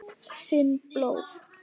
Finn blóð.